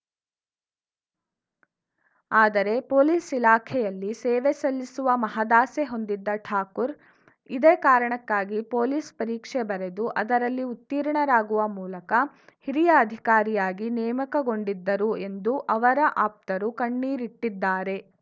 ಆದರೆ ಪೊಲೀಸ್‌ ಇಲಾಖೆಯಲ್ಲಿ ಸೇವೆ ಸಲ್ಲಿಸುವ ಮಹದಾಸೆ ಹೊಂದಿದ್ದ ಠಾಕೂರ್‌ ಇದೇ ಕಾರಣಕ್ಕಾಗಿ ಪೊಲೀಸ್‌ ಪರೀಕ್ಷೆ ಬರೆದು ಅದರಲ್ಲಿ ಉತ್ತೀರ್ಣರಾಗುವ ಮೂಲಕ ಹಿರಿಯ ಅಧಿಕಾರಿಯಾಗಿ ನೇಮಕಗೊಂಡಿದ್ದರು ಎಂದು ಅವರ ಆಪ್ತರು ಕಣ್ಣೀರಿಟ್ಟಿದ್ದಾರೆ